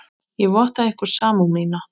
Ég votta ykkur samúð mína.